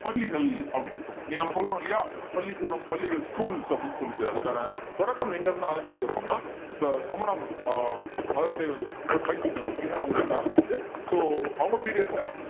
பள்ளிகள் அப்படின்னு சொல்றோம் இன்னைக்கு நம்ம சொல்றோம் இல்லையா பள்ளிக்கூடம் பள்ளிகள் schools அப்படின்னு சொல்லிட்டு அதுக்கான தொடக்கம் எங்கிருந்து ஆரம்பிக்குது அப்படின்னா ச~ சமணம் ஆஹ் மதத்தை வந்து பயிற்றுவிக்கறாங்க இல்லையா அவங்ககிட்ட இருந்துதான் ஆரம்பிக்குது so அவங்க period ல